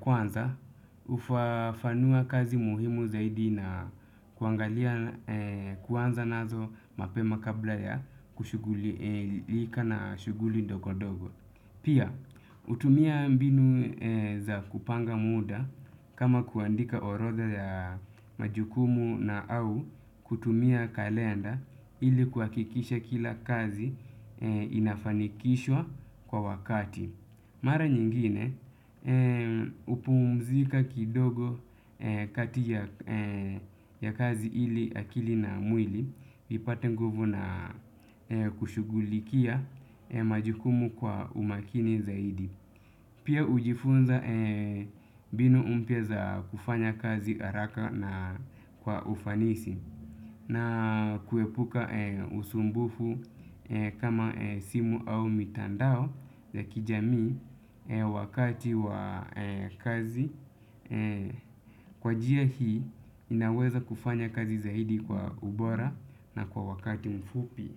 kwanza, hufafanua kazi muhimu zaidi na kuangalia kuanza nazo mapema kabla ya kushugulika na shuguli ndogo-ndogo. Pia, utumia mbinu za kupanga muda kama kuandika orodha ya majukumu na au kutumia kalenda ili kuhakikisha kila kazi inafanikishwa kwa wakati. Mara nyingine hupumzika kidogo kati ya kazi ili akili na mwili ipate nguvu na kushugulikia majukumu kwa umakini zaidi. Pia hujifunza mbinu mpya za kufanya kazi haraka na kwa ufanisi. Na kuepuka usumbufu kama simu au mitandao ya kijamii wakati wa kazi. Kwa njia hii inaweza kufanya kazi zaidi kwa ubora na kwa wakati mfupi.